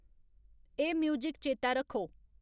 एह् म्यूज़िक चेतै रक्खो